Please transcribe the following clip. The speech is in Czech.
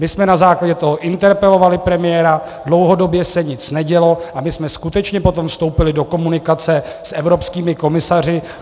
My jsme na základě toho interpelovali premiéra, dlouhodobě se nic nedělo, a my jsme skutečně potom vstoupili do komunikace s evropskými komisaři.